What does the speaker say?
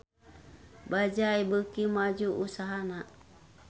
Bajaj beuki maju usahana